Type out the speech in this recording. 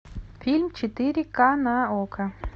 фильм четыре ка на окко